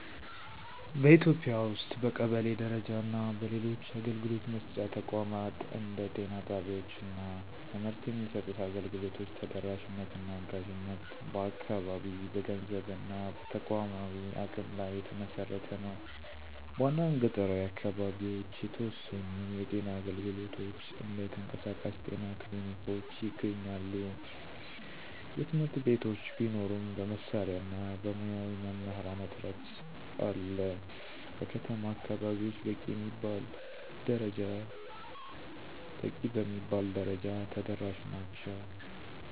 በኢትዮጵያ ውስጥ በቀበሌ ደረጃ እና በሌሎች አገልግሎት መስጫ ተቋማት እንደ ጤና ጣቢያወች እና ትምህርት የሚሰጡት አገልግሎቶች ተደራሽነት እና አጋዥነት በአካባቢ፣ በገንዘብ እና በተቋማዊ አቅም ላይ የተመሰረተ ነው። በአንዳንድ ገጠራዊ አካባቢዎች የተወሰኑ የጤና አገልግሎቶች (እንደ የተንቀሳቃሽ ጤና ክሊኒኮች) ይገኛሉ። የትምህርት ቤቶች ቢኖሩም በመሳሪያ እና በሙያዊ መምህራን እጥረት አለ። በከተማ አከባቢወች በቂ በሚባል ደረጃ ተደራሽ ናቸው።